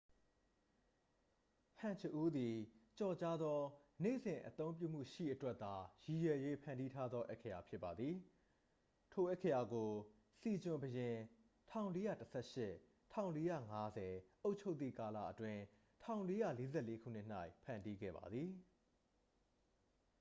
ဟန်ဂျအူး သည် ကျော်ကြားသော နေ့စဉ်အသုံးပြုမှုရှိအတွက်သာ ရည်ရွယ်၍ဖန်တီးထားသော အက္ခရာဖြစ်ပါသည်။ ထိုအက္ခရာကို စီဂျွန် ဘုရင် ၁၄၁၈ – ၁၄၅၀ အုပ်ချုပ်သည့်ကာလအတွင်း ၁၄၄၄ ခုနှစ်၌ ဖန်တီးခဲ့ပါသည်။